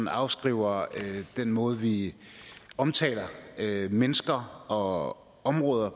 afskriver den måde vi omtaler mennesker og områder